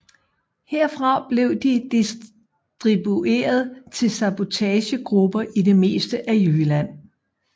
Herfra blev de distribueret til sabotagegrupper i det meste af Jylland